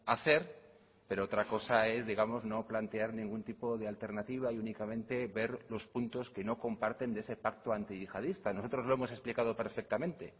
hacer pero otra cosa es digamos no plantear ningún tipo de alternativa y únicamente ver los puntos que no comparten de ese pacto antiyihadista nosotros lo hemos explicado perfectamente